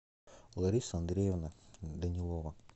лариса андреевна данилова